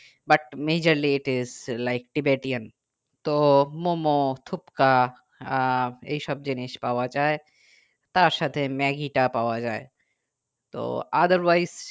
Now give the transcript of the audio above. but majorly it is like Tibetan তো মোমো থুপকা আহ এইসব জিনিস পাওয়া যাই তার সাথে ম্যাগি তা পাওয়া যাই তো otherwise